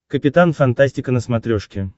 капитан фантастика на смотрешке